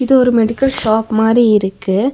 இது ஒரு medical shop மாரி இருக்கு.